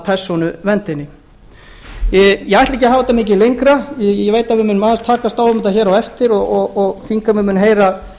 þetta miklu lengra ég veit að við munum aðeins takast á um þetta hér á eftir og þingheimur mun heyra